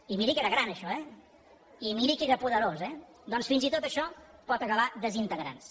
i miri que era gran això eh i miri que era poderós eh doncs fins i tot això pot acabar desintegrant se